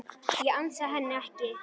Ég ansa henni ekki.